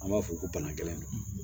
An b'a fɔ ko bana gɛlɛn ninnu